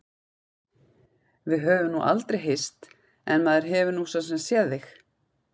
Við höfum nú aldrei hist en maður hefur nú svo sem séð þig.